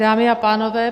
Dámy a pánové.